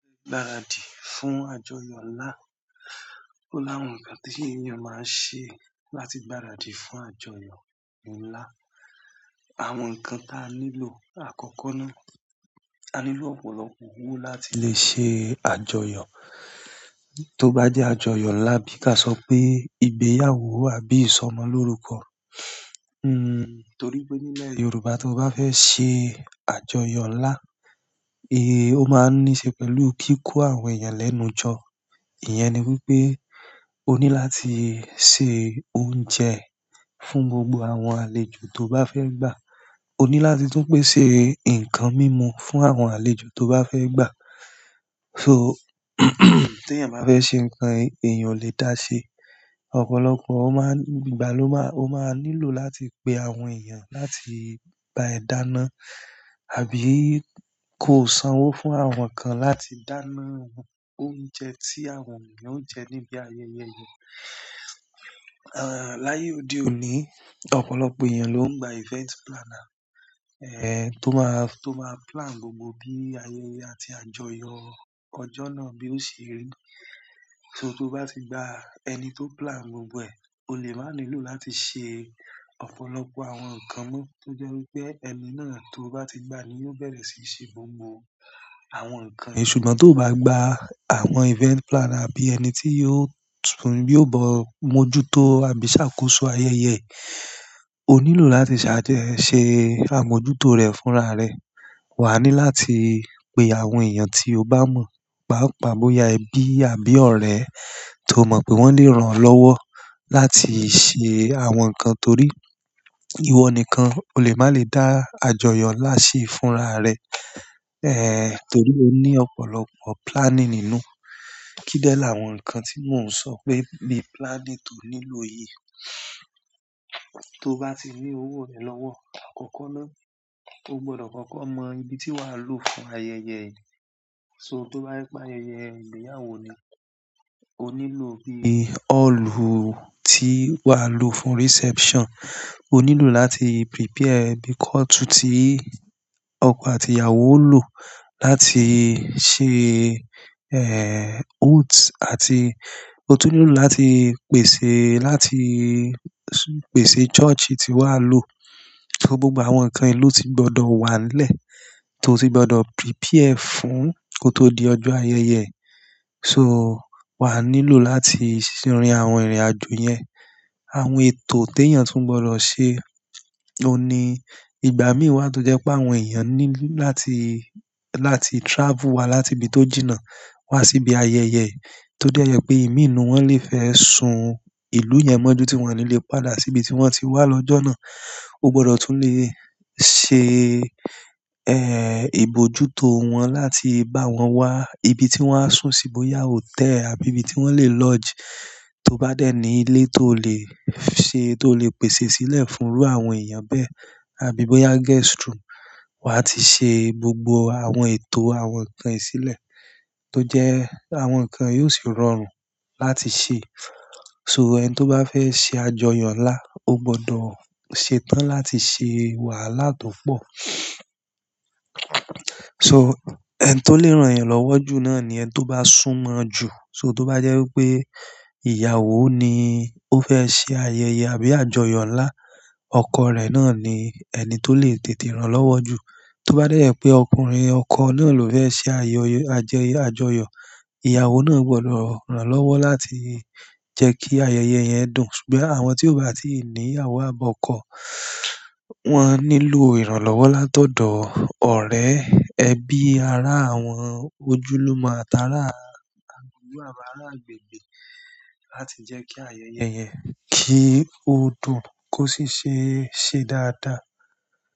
Gbaradi fún àjọyọ̀ ńlá. Ó láwọn ǹkan tí èèyàn máa ń ṣe láti gbaradi fún àjọyọ̀ ńlá. Àwọn ǹkan tí a nílò àkọ́kọ́ ni, a nílò ọ̀pọ̀lọpọ̀ owó láti lè ṣe àjọyọ̀. Tóbá jẹ́ àjọyọ̀ ńlá bí ka sọ pé ìgbéyàwó àbí ìsọmọlórúkọ. Hmm, torí pé nílẹ̀ Yorùbá, tó bá fẹ́ ṣe àjọyọ̀ ńlá, eh, ó máa níí ṣe pẹ̀lú kíkó àwọn èèyàn lẹ́nu jọ. Ìyẹn ni wípé o ní láti se oúnjẹ fún gbogbo àwọn àlejò tó bá fẹ́ gbà. O ní láti tún pèsè ǹkan mímu fún àwọn àlejò tó bá fẹ́ gbà. So tí èèyàn bá fẹ́ ṣe ǹkan èèyàn lè dá ṣe, ọ̀pọ̀lọpọ̀ ó máa ń-- ìgbà ló máa-- ó máa nílò láti pe àwọn èèyàn láti bá ẹ dáná, àbí ko sanwó fún àwọn kan láti dáná oúnjẹ tí àwọn èèyàn ó ń jẹ níbi ayẹyẹ yẹn. Aah, láyé òde òní, ọ̀pọ̀lọpọ̀ èèyàn ló ń gba event planner, eh, tó máa, tó máa plan gbogbo bí ayẹyẹ àti àjọyọ̀ ọjọ́ náà bí ó ṣe rí. So tó bá ti gba ẹni tó plan gbogbo ẹ̀, o lè máa nílò láti ṣe ọ̀pọ̀lọpọ̀ àwọn ǹkan mọ́. Tó jẹ́ wípé ẹni náà tó bá ti gba ni yóò bẹ̀rẹ̀ síí ṣe gbogbo àwọn ǹkan. Ṣùgbọ́n tó bá gba àwọn event planner bí ẹni tí yóò tún, yóò bọ mojútó àbí ṣàkóso ayẹyẹ, o nílò láti ṣáájú ẹ ṣe àmójútó rẹ̀ fúnra rẹ̀. Wà á ní láti pe àwọn èèyàn tí o bá mọ̀, bápa bóyá ẹbí àbí ọ̀rẹ́ tó mọ̀ pé wọ́n lè ràn ọ́ lọ́wọ́ láti ṣe àwọn ǹkan torí ìwọ nìkan o lè má lè dá àjọyọ̀ ńlá ṣe fúnra rẹ. Eh, torí ó ní ọ̀pọ̀lọpọ̀ planning nínú. Kín dẹ̀ láwọn ǹkan tí mò ń sọ pé ni planning tó nílò yìí? Tó bá ti ní owó rẹ̀ lọ́wọ́ àkọ́kọ́ ná, o gbọdọ̀ kọ́kọ́ mọ ibi tí wà á lò fún ayẹyẹ yìí. So tó bá jẹ́ pé ayẹyẹ ìgbéyàwó ni, o nílò bí i ọ́ọ̀lù tí wà á lò fún reception. O nílò láti prepare ibi kọ́ọ̀tù tí ọkọ àti ìyàwó ó lò láti ṣe, eh, oath àti o tún nílò láti pèsè, láti pèsè church tí wà á lò. So gbogbo àwọn ǹkan yo lo ti gbọdọ̀ wà nílẹ̀, tó ti gbọdọ̀ prepare fún kó tó di ọjọ́ ayẹyẹ. So wà á nílò láti rin àwọn ìrìnàjò yẹn. Àwọn ètò tí èèyàn tún gbọdọ̀ ṣe, o ní ìgbà míì wà tó jẹ́ pé àwọn èèyàn ní láti, láti travel wá láti ibi tó jìnnà wá sí ibi ayẹyẹ. Tójẹ́ jẹ pé èmi inú wọ́n lè fẹ́ sùn ìlú yẹn mọ́jú tí wọ́n á ní lè padà sí ibi tí wọ́n ti wá lọ́jọ́ náà. O gbọdọ̀ tún lè ṣe, eh, ìbójútó wọn láti bá wọn wá ibi tí wọ́n á sùn sí bóyá hotel àbí ibi tí wọ́n lè lodge. Tó bá dẹ́ ní ilé tó lè ṣe, tó lè pèsè sílẹ̀ fún irú àwọn èèyàn bẹ́ẹ̀, àbí bóyá guest room. Wà á ti ṣe gbogbo àwọn ètò àwọn ǹkan yi sílẹ̀ tó jẹ́ àwọn ǹkan yi o sì rọrùn láti ṣe. So ẹni tó bá fẹ́ ṣe àjọyọ̀ ńlá, o gbọdọ̀ ṣetán láti ṣe wàhálà tó pọ̀. So ẹni tó lè ràn ẹ́ lọ́wọ́ jù náà ni ẹni tó bá sùn mọ́ ẹ jù. So tó bá jẹ́ wípé ìyàwó ni ó fẹ́ ṣe ayẹyẹ àbí àjọyọ̀ ńlá, ọkọ rẹ̀ náà ni ẹni tó lè tètè ràn lọ́wọ́ jù. Tó bá dẹ́ jẹ pé ọkùnrin, ọkọ náà ló fẹ́ ṣe ayẹyẹ, àjẹyọ̀, àjọyọ̀, ìyàwó náà gbọdọ̀ ràn lọ́wọ́ láti jẹ́ kí ayẹyẹ yẹn dùn. Ṣùgbọ́n àwọn tí ò bá ti ní ìyàwó àbí ọkọ, wọ́n á nílò ìrànlọ́wọ́ látọ̀dọ̀ ọ̀rẹ́, ẹbí, ará àwọn ojúlùmo atará agbègbè láti jẹ́ kí ayẹyẹ yẹn kí ó dùn kó sì ṣe, ṣe dáadáa.